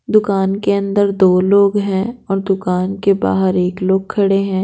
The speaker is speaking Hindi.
दुकान के अंदर दो लोग हैं और दुकान के बाहर एक लोग खड़े है।